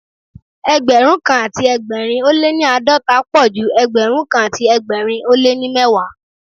Ẹgbẹ̀rún kan àti ẹgbẹ̀rin ó lé ní àádọ́ta pọ̀ ju Ẹgbẹ̀rún kan àti ẹgbẹ̀rin ó lé ní mẹ́wàá.